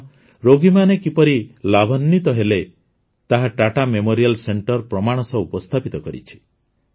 କାରଣ ରୋଗୀମାନେ କିପରି ଲାଭାନ୍ୱିତ ହେଲେ ତାହା ଟାଟା ମେମୋରିଆଲ୍ ସେଣ୍ଟରେ ପ୍ରମାଣ ସହ ଉପସ୍ଥାପିତ କରିଛି